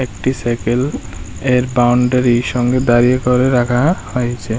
একটি সাইকেল এর বাউন্ডারি সঙ্গে দাঁড়িয়ে করে রাখা হয়েছে।